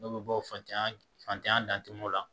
Dɔw bɛ bɔ fantanya fan dan o la